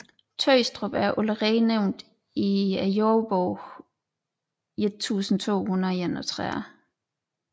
Tøstrup er allerede nævnt i jordebogen 1231